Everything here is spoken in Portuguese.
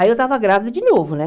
Aí eu estava grávida de novo, né?